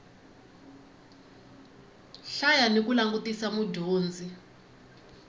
hlaya ni ku langutisa mudyondzi